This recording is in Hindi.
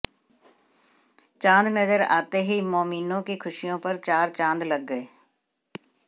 चाॅद नजर आते ही मौमीनों की खुशियों पर चार चांद लग गये